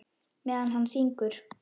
Meðan hann syngur.